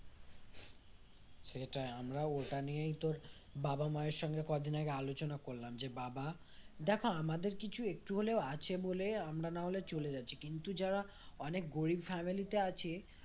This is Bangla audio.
সেটাই আমরা ওটা নিয়েই তোর বাবা মায়ের সাথে কদিন আগে আলোচনা করলাম যে বাবা দেখো, আমাদের কিছু একটু হলেও আছে বলে আমরা না হলে চলে যাচ্ছি কিন্তু যারা অনেক গরিব family তে আছে